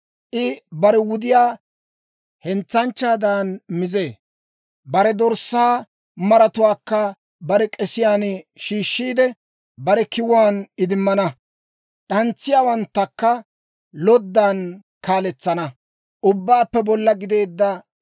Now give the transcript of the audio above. I bare wudiyaa hentsanchchaadan mizee; bare dorssaa maratuwaakka bare k'esiyaan shiishshiide, bare kiwuwaan idimmana. D'antsiyaawanttakka loddan kaaletsana.